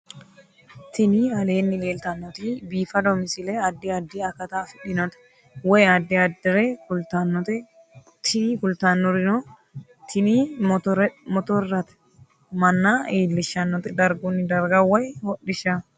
Tini aleenni leetannoti biifado misile adi addi akata afidhinote woy addi addire kultannote tini kultannori tini motorrate manna iillishshannote dargunni darga woy hodhishshaho